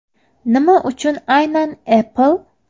Nima uchun aynan Apple?